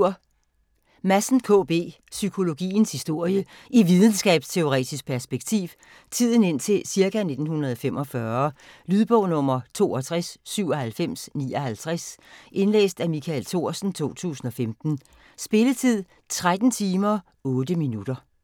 Madsen, K. B.: Psykologiens historie i videnskabsteoretisk perspektiv Tiden indtil ca. 1945. Lydbog 629759 Indlæst af Michael Thorsen, 2015. Spilletid: 13 timer, 8 minutter.